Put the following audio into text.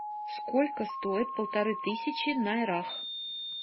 сколько стоит полторы тысячи найрах